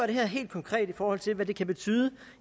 det her helt konkret i forhold til hvad det kan betyde